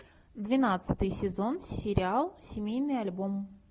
двенадцатый сезон сериал семейный альбом